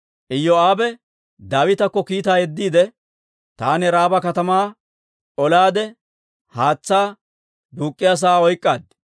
Iyoo'aabe Daawitakko kiitaa yeddiide, «Taani Raaba katamaa olaade, haatsaa duuk'k'iyaa sa'aa oyk'k'aad.